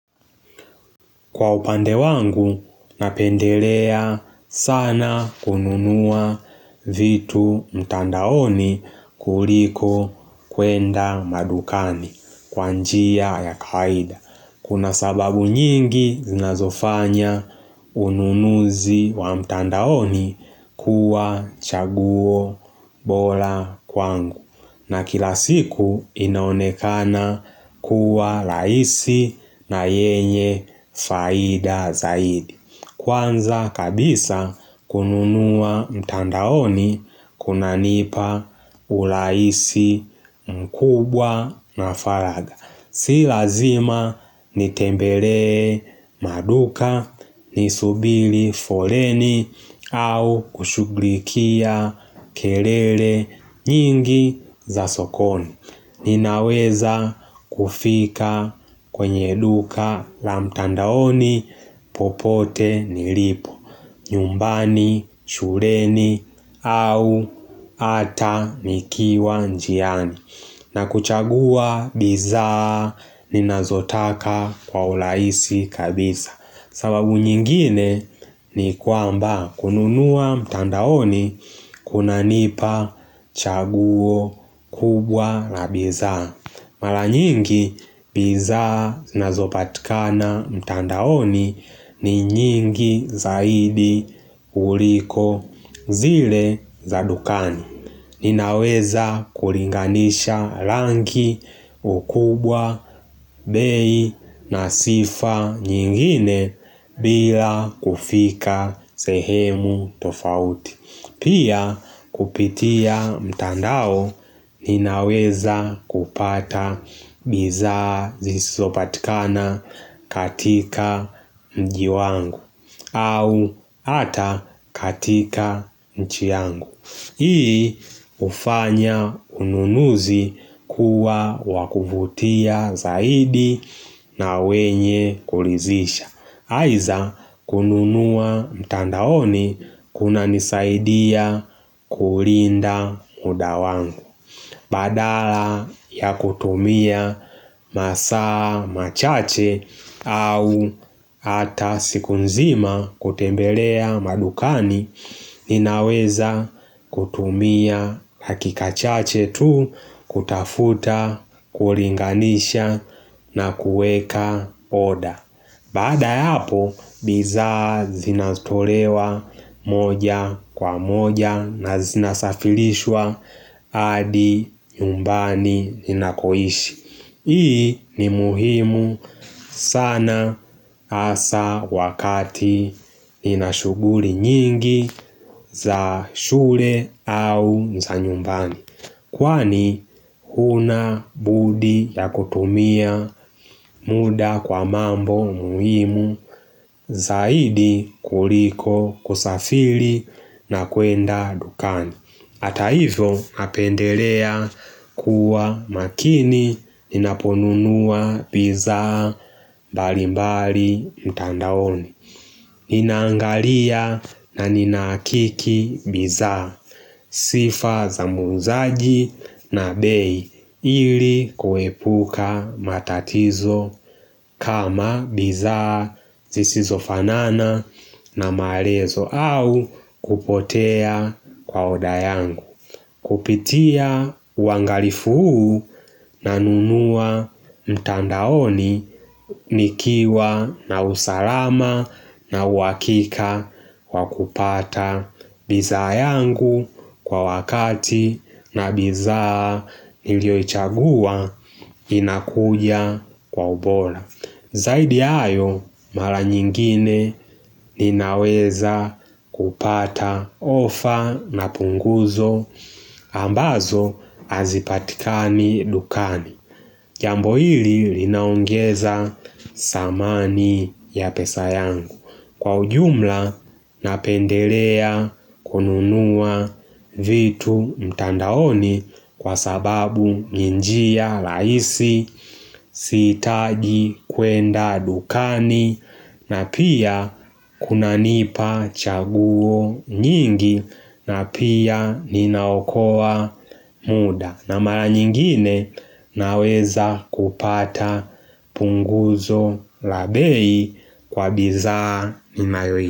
Kwa upande wangu, napendelea sana kununua vitu mtandaoni kuliko kuenda madukani kwanjia ya kawaida. Kuna sababu nyingi zinazofanya ununuzi wa mtandaoni kuwa chaguo bora kwangu. Na kila siku inaonekana kuwa raisi na yenye faida zaidi. Kwanza kabisa kununua mtandaoni kuna nipa urahisi mkubwa na faragha. Si lazima nitembelee maduka, nisubiri foleni au kushughulikia kelele nyingi za sokoni. Ninaweza kufika kwenye duka la mtandaoni popote nilipo, nyumbani, shuleni au hata nikiwa njiani. Na kuchagua bidhaa ni nazotaka kwa urahisi kabisa sababu nyingine ni kwamba kununua mtandaoni kuna nipa chaguo kubwa la bidhaa Mara nyingi bidhaa zinazopatikana mtandaoni ni nyingi zaidi kuliko zile za dukani Ninaweza kulinganisha rangi ukubwa, bei na sifa nyingine bila kufika sehemu tofauti Pia kupitia mtandao ninaweza kupata bidhaa zisizopatikana katika mjiwangu au hata katika nchi yangu Hii ufanya ununuzi kuwa wakuvutia zaidi na wenye kulidhisha Aidha kununua mtandaoni kuna nisaidia kulinda muda wangu Badala ya kutumia masaa, machache au hata siku nzima kutembelea madukani Ninaweza kutumia dakika chache tu kutafuta, kulinganisha na kuweka oda Baada ya hapo, bidhaa zinatolewa moja kwa moja na zinasafirishwa hadi nyumbani ninakoishi. Hii ni muhimu sana hasa wakati ninashuguli nyingi za shule au za nyumbani. Kwani huna budi ya kutumia muda kwa mambo muhimu zaidi kuliko kusafiri na kuenda dukani Hata hivyo napendelea kuwa makini ninaponunua bidhaa mbalimbali mtandaoni Ninangalia na ninahakiki bidhaa sifa za muuzaji na bei ili kuepuka matatizo kama bidhaa zisizo fanana na maelezo au kupotea kwa odayangu. Kupitia uangalifu huu na nunua mtandaoni nikiwa na usalama na uhakika wa kupata bidhaa yangu kwa wakati na bidhaa nilioichagua inakuja kwa ubora. Zaidi ya hayo mara nyingine ninaweza kupata ofa na punguzo ambazo hazipatikani dukani Jambo hili linaongeza thamani ya pesa yangu Kwa ujumla napendelea kununua vitu mtandaoni kwa sababu ni njia rahisi siitaji kwenda dukani na pia kuna nipa chaguo nyingi na pia ninaokoa muda na mara nyingine naweza kupata punguzo labei kwa bidhaa ninayoi.